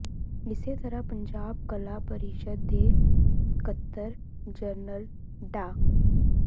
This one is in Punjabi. ਇਸੇ ਤਰ੍ਹਾਂ ਪੰਜਾਬ ਕਲਾ ਪਰਿਸ਼ਦ ਦੇ ਸਕੱਤਰ ਜਨਰਲ ਡਾ